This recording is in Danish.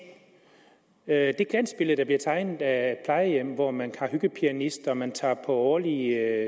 er det glansbillede der bliver tegnet af plejehjemmet hvor man har hyggepianist og man tager på årlige